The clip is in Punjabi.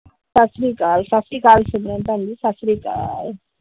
ਸਤਿ ਸ਼੍ਰੀ ਅਕਾਲ ਸਤਿ ਸ਼੍ਰੀ ਅਕਾਲ ਸਿਮਰਨ ਭੈਣ ਜੀ ਸਤਿ ਸ਼੍ਰੀ ਅਕਾਲ ।